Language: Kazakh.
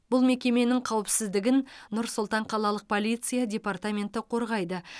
бұл мекеменің қауіпсіздігін нұр сұлтан қалалық полиция департаменті қорғайды